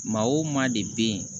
Maa o maa de bɛ yen